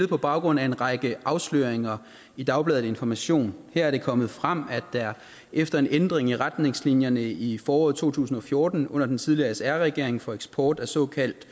på baggrund af en række afsløringer i dagbladet information her er det kommet frem at der efter en ændring i retningslinjerne i foråret to tusind og fjorten under den tidligere sr regering for eksport af såkaldt